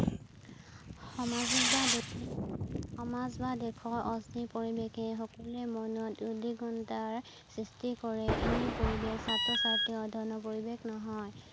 সামাজিক বা সমাজ বা দেশৰ অস্থিৰ পৰিৱেশে সকলো ৰে মনত উদ্দীগণতাৰ সৃষ্টি কৰে, এনে পৰিৱেশ ছাত্ৰ-ছাত্ৰীৰ অ্ধ্যয়নৰ পৰিৱেশ নহয়